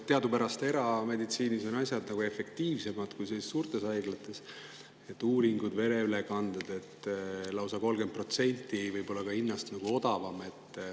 Teadupärast on erameditsiinis asjad efektiivsemad kui suurtes haiglates, uuringud, vereülekanded võivad olla hinna poolest lausa 30% odavamad.